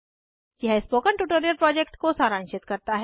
यह spoken tutorial project को सारांशित करता है